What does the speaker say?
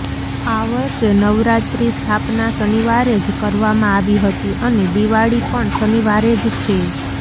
આ વર્ષે નવરાત્રી સ્થાપના શનિવારે જ કરવામાં આવી હતી અને દિવાળી પણ શનિવારે જ છે